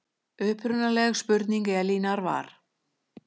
Upprunaleg spurning Elínar var